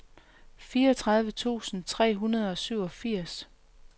fireogtredive tusind tre hundrede og syvogfirs